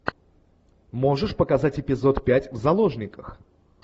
можешь показать эпизод пять в заложниках